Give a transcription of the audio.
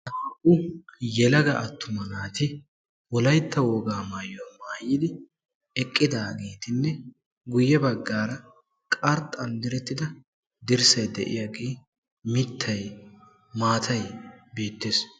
Hai yelaga attuma naati wolaytta wogaa maayuwaa maayidi eqqidagettinne guye baggaara qarxxan direttida dirssay de'iyage mittay maataay beettees.